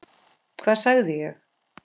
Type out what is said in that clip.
Hvað sagði ég??